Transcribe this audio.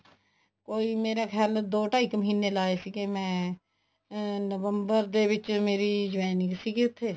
ਕੋਈ ਮੇਰਾ ਖਿਆਲ ਦੀ ਢਾਈ ਕ ਮਹੀਨੇ ਲਾਏ ਸੀ ਮੈਂ ਨਵੰਬਰ ਦੇ ਵਿੱਚ ਮੇਰੀ joining ਸੀਗੀ ਉੱਥੇ